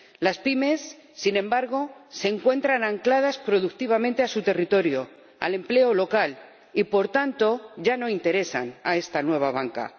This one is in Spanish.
Las pymes, sin embargo, se encuentran ancladas productivamente a su territorio, al empleo local, y, por tanto, ya no interesan a esta nueva banca.